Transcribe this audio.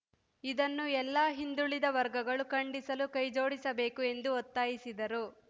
ಇದನ್ನು ಎಲ್ಲ ಹಿಂದುಳಿದ ವರ್ಗಗಳು ಖಂಡಿಸಲು ಕೈ ಜೋಡಿಸಬೇಕು ಎಂದು ಒತ್ತಾಯಿಸಿದರು